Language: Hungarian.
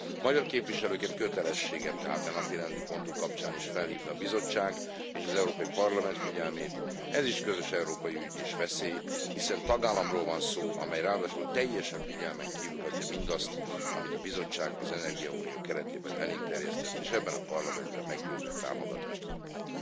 Magyar képviselőként kötelességem tehát a napirendi pontunk kapcsán is felhívni a Bizottság és az Európai Parlament figyelmét ez is közös európai ügy és veszély, hiszen tagállamról van szó, amely ráadásul teljesen figyelmen kívül hagyja mindazt, amit a Bizottság az energiaunió keretében elénk terjesztett, és ebben a Parlamentben meggyőző támogatást kapott.